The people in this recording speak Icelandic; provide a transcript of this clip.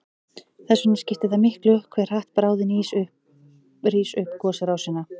Þess vegna skiptir það miklu hve hratt bráðin rís upp gosrásina.